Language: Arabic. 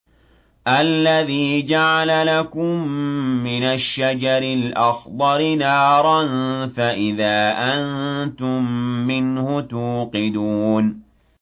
الَّذِي جَعَلَ لَكُم مِّنَ الشَّجَرِ الْأَخْضَرِ نَارًا فَإِذَا أَنتُم مِّنْهُ تُوقِدُونَ